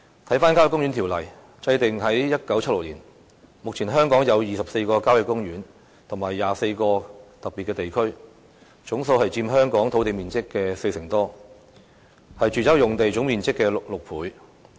《郊野公園條例》於1967年制定，香港目前有24個郊野公園及22個特別地區，佔香港土地面積四成多，是住宅用地總面積的6倍。